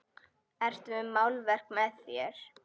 Ertu með málverk með þér?